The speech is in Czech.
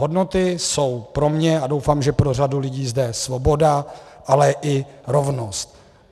Hodnoty jsou pro mě a doufám, že pro řadu lidí zde, svoboda, ale i rovnost.